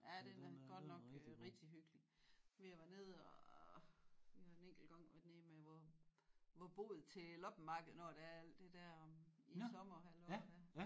Ja den er godt nok rigtig hyggelig vi har været nede og vi har en enkelt gang været nede med vor vor bod til loppemarked når det er alt det der om i sommerhalvåret der